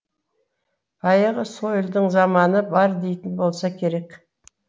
баяғы сойылдың заманы бар дейтін болса керек